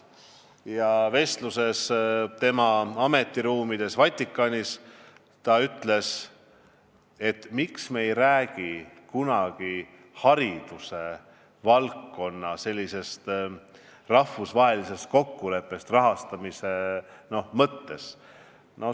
Vestluses tema ametiruumides Vatikanis ta küsis, miks me ei räägi kunagi haridusvaldkonna rahvusvahelisest kokkuleppest rahastamise mõttes.